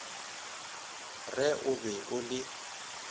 re o be o le